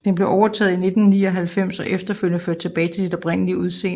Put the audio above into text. Den blev overtaget i 1999 og efterfølgende ført tilbage til sit oprindelige udseende